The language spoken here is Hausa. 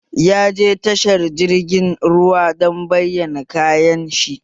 Ya je tashar jirgin ruwa don bayyana kayan shi